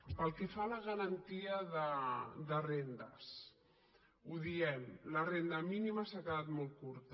pel que fa a la garantia de rendes ho diem la renda mínima s’ha quedat molt curta